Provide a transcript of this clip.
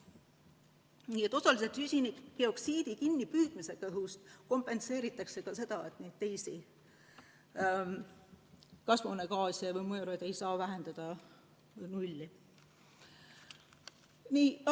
Nii et osaliselt süsinikdioksiidi kinnipüüdmisega õhust kompenseeritakse ka seda, et neid teisi kasvuhoonegaase, teisi mõjureid ei saa vähendada nullini.